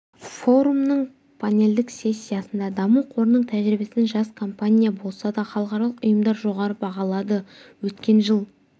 форумның панельдік сессиясында даму қорының тәжрибесін жас компания болса да халықаралық ұйымдар жоғары бағалады өткен жыл